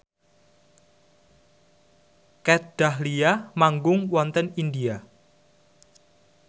Kat Dahlia manggung wonten India